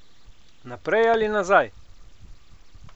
Naprej ali nazaj?